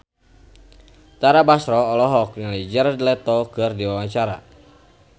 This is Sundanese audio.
Tara Basro olohok ningali Jared Leto keur diwawancara